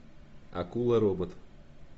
акула робот